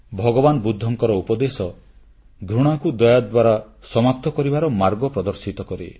ଭଗବାନ ବୁଦ୍ଧଙ୍କର ଉପଦେଶ ଘୃଣାକୁ ଦୟା ଦ୍ୱାରା ସମାପ୍ତ କରିବାର ମାର୍ଗ ପ୍ରଦର୍ଶିତ କରେ